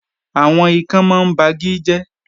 Àwọn ikán mọ ń ba igi jẹ́